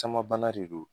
Caman bana de don